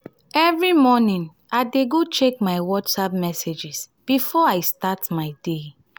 every morning i go check my whatsapp messages before i start my day.